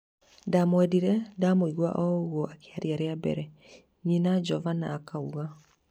" Ndamwendire, ndamũigua o-ũgwo akĩrĩra rĩa mbere," nyina Jovana akauga.